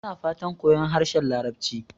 Yana fatan koyon harshen Larabci.